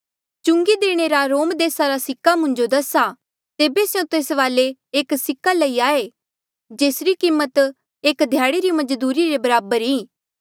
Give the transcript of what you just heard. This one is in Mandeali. चुंगी देणे रा रोम देसा रा सिक्का मुंजो दसा तेबे स्यों तेस वाले एक सिक्का लई आये जेसरी कीमत एक ध्याड़े री मजदूरी रे बराबर ई